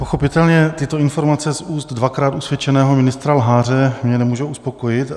Pochopitelně tyto informace z úst dvakrát usvědčeného ministra lháře mě nemůžou uspokojit.